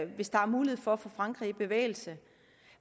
hvis der er mulighed for at få frankrig i bevægelse